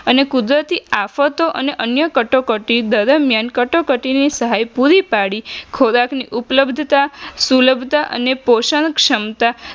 અને કુદરતી આફતો અને અન્ય કટોકટી દરમિયાન કટોકટીની સહાયતા પૂરી પાડી ખોરાકની ઉપલબ્ધતા સુલભતા અને પોષણ ક્ષમતા